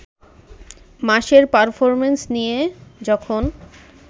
মাসের পারফরমেন্স নিয়ে যখন